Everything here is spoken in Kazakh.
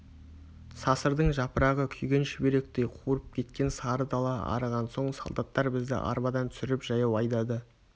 сасырдың жапырағы күйген шүберектей қурп кеткен сары дала арыған соң солдаттар бізді арбадан түсіріп жаяу айдады